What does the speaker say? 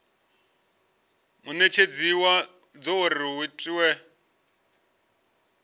munetshedzi wadzo uri hu itwe